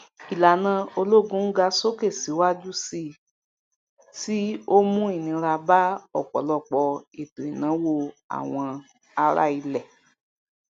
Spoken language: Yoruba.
ìlànà olóògùn n ga sókè siwaju sí tí o mu inira ba ọpọlọpọ ètò ìnáwó àwọn ará ilẹ